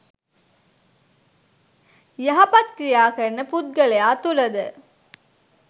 යහපත් ක්‍රියා කරන පුද්ගලයා තුළද